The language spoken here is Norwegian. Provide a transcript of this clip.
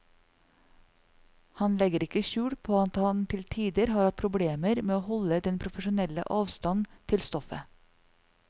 Han legger ikke skjul på at han til tider har hatt problemer med å holde den profesjonelle avstand til stoffet.